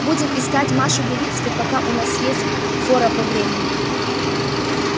будем искать машу белинскую пока у нас есть фора по времени